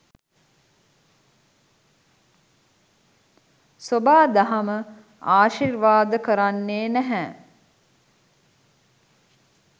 සොබා දහම ආශිර්වාද කරන්නේ නැහැ.